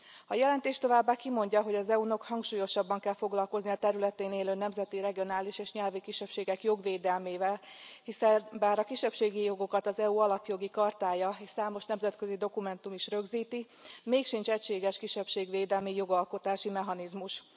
A jelentés továbbá kimondja, hogy az EU nak hangsúlyosabban kell foglalkoznia a területén élő nemzeti, regionális és nyelvi kisebbségek jogvédelmével, hiszen bár a kisebbségi jogokat az EU Alapjogi Chartája és számos nemzetközi dokumentum is rögzíti mégsincs egységes kisebbségvédelmi jogalkotási mechanizmus.